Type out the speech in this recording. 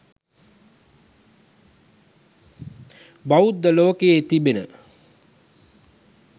බෞද්ධ ලෝකයේ තිබෙන